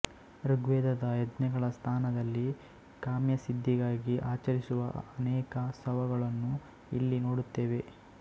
ಋಗ್ವೇದದ ಯಜ್ಞಗಳ ಸ್ಥಾನದಲ್ಲಿ ಕಾಮ್ಯಸಿದ್ಧಿಗಾಗಿ ಆಚರಿಸುವ ಅನೇಕ ಸವಗಳನ್ನು ಇಲ್ಲಿ ನೋಡುತ್ತೇವೆ